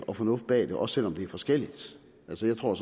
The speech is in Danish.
og fornuft bag det også selv om det er forskelligt altså jeg tror